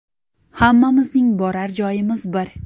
Hammamizning borar joyimiz bir.